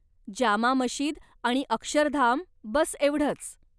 जामा मशिद आणि अक्षरधाम, बस एवढंच.